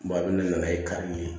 a bɛ na n'a ye kari ye